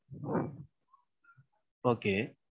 Okay.